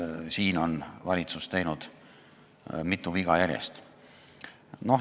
Siin on valitsus teinud mitu viga järjest.